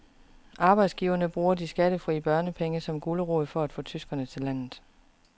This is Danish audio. Arbejdsgiverne bruger de skattefri børnepenge som gulerod for at få tyskere til landet.